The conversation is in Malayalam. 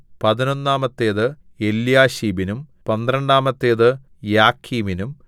പതിനൊന്നാമത്തേത് എല്യാശീബിനും പന്ത്രണ്ടാമത്തേത് യാക്കീമിനും